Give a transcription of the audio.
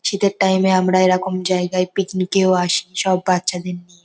শীতের টাইম -এ আমরা এরকম জায়গায় পিকনিক -এও আসি সব বাচ্চাদের নিয়ে ।